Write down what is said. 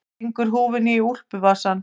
Stingur húfunni í úlpuvasann.